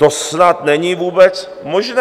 To snad není vůbec možné!